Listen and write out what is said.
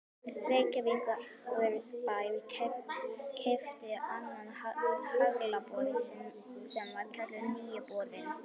Reykjavíkurbær keypti annan haglabor sinn sem var kallaður Nýi borinn.